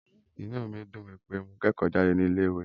Inú mí dùn wípé mo kẹ́kọ̀ọ́ jáde ní ilé ìwé yìí.